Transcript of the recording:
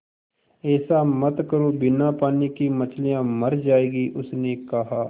ऐसा मत करो बिना पानी के मछलियाँ मर जाएँगी उसने कहा